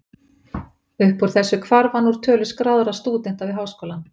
Upp úr þessu hvarf hann úr tölu skráðra stúdenta við háskólann.